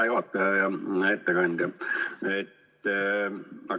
Hea juhataja ja ettekandja!